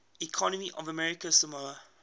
economy of american samoa